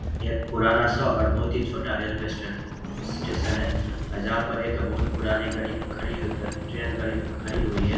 ये एक पुराना सा और बोहोत ही छोटा रेलवे स्टे स्टेशन है और जहां पर एक बोहोत पुरानी गाड़ी खड़ी ट्रैन गड़ी खड़ी हुई है।